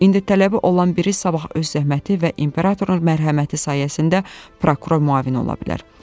İndi tələbi olan biri sabah öz zəhməti və imperatorun mərhəməti sayəsində prokuror müavini ola bilər.